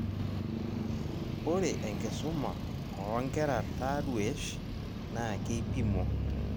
Ore enkisuma oonkera taruesh naa keipimo